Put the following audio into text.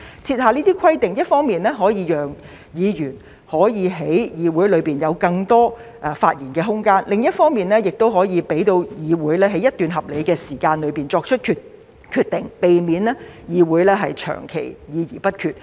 設下規定一方面可以讓議員能夠在議會內有更多發言空間，另一方面，亦可以讓議會在一段合理時間內作出決定，避免議會長期議而不決。